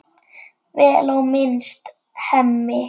Vel á minnst: Hemmi.